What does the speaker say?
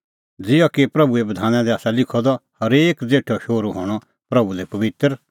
ज़िहअ कि प्रभूए बधाना दी आसा लिखअ द हरेक ज़ेठअ शोहरू हणअ प्रभू लै पबित्र